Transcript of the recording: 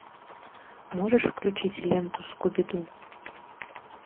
можешь включить ленту скуби ду